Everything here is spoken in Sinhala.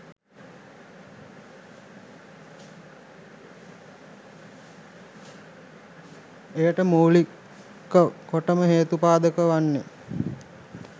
එයට මූලික කොටම හේතුපාදක වන්නේ